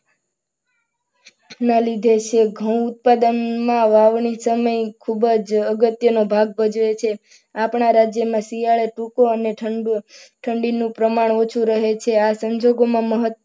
ના લીધે છે ઘઉં ઉત્પાદનમાં વાવણી સમય ખૂબ જ અગત્યનો ભાગ ભજવે છે. આપણા રાજ્યમાં શિયાળે સૂકું અને ઠંડુ ઠંડીનું પ્રમાણ ઊંચું રહે છે. આવા સંજોગોમાં મહા-